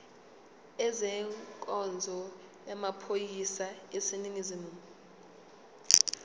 ezenkonzo yamaphoyisa aseningizimu